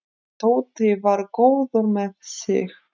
Tóti var góður með sig.